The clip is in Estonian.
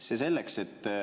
See selleks.